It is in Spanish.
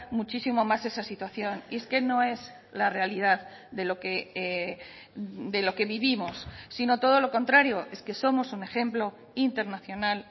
muchísimo más esa situación y es que no es la realidad de lo que de lo que vivimos sino todo lo contrario es que somos un ejemplo internacional